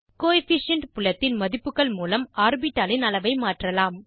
coefficient புலத்தின் மதிப்புகள் மூலம் ஆர்பிட்டாலின் அளவை மாற்றலாம்